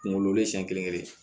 Kunkolo len siyɛn kelen